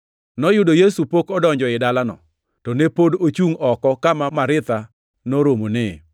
Noyudo Yesu pok odonjo ei dalano; to ne pod ochungʼ oko kama Maritha noromonee.